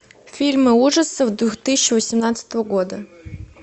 фильмы ужасов две тысячи восемнадцатого года